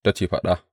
Ta ce, Faɗa.